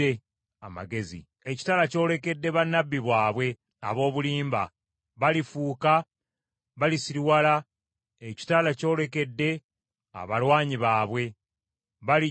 Ekitala kyolekedde bannabbi baabwe ab’obulimba! Balifuuka balisiriwala, ekitala kyolekedde abalwanyi baabwe. Balijjula entiisa.